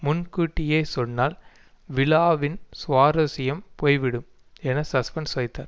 முன்கூட்டியே சொன்னால் விழாவின் சுவாரஸ்யம் போய்விடும் என சஸ்பென்ஸ் வைத்தார்